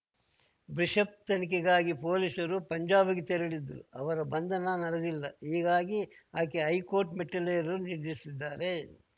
bishop ತನಿಖೆಗಾಗಿ ಪೊಲೀಸರು ಪಂಜಾಬ್‌ಗೆ ತೆರಳಿದ್ದರೂ ಅವರ ಬಂಧನ ನಡೆದಿಲ್ಲ ಹೀಗಾಗಿ ಆಕೆ ಹೈಕೋರ್ಟ್‌ ಮೆಟ್ಟಿಲೇರಲು ನಿರ್ಧರಿಸಿದ್ದಾರೆ